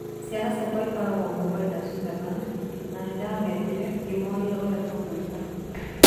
"Ciana ciakwa ikoragwo Mumbai na Switzerland, na nĩ ndametire ngĩmooria ũrĩa tũgwĩka.